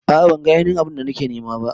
A'a ban ga ainihin abu'n da nake nema ba.